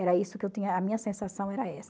Era isso que eu tinha, a minha sensação era essa.